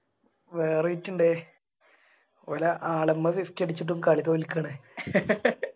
വേറെ വിറ്റ് ഇണ്ട് ഓല് ആളെമ്മേ അടിച്ചിട്ടും കളി തോൽക്കാണ്